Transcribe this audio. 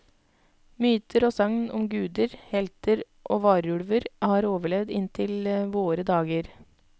Myter og sagn om guder, helter og varulver har overlevd inntil våre dager.